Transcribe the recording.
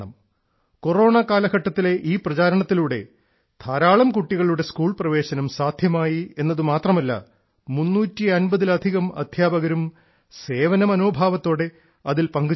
corona കാലഘട്ടത്തിൽ ഈ പ്രചാരണത്തിലൂടെ ധാരാളം കുട്ടികളുടെ സ്കൂൾ പ്രവേശനം സാധ്യമായി എന്നത് മാത്രമല്ല 350 ലധികം അധ്യാപകരും സേവന മനോഭാവത്തോടെ അതിൽ പങ്കുചേർന്നു